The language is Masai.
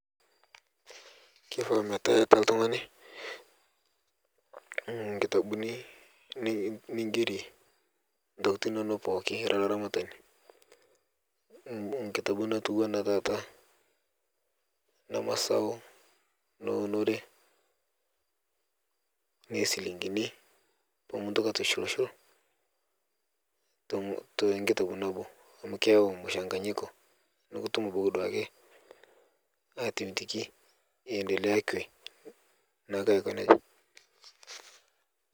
Kelo ometaa etaa oltung'ani nkitabuni nigerie entokitin enono pookin era olaramatani enkitabu nayieu taata nemesapuk eneunore enoo njilingini pee mintoki aitushul shul tee nkitabu nabo amu keyawu mchanganyiko neeku etum aitoduaki endelea kwe neeku Aiko nejia